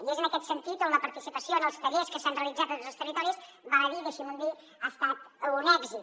i és en aquest sentit que la participació en els tallers que s’han realitzat a tots els territoris val a dir deixin m’ho dir ha estat un èxit